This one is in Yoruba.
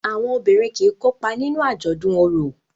Àwọn obìrin kí kópa nínú ajọdun oro.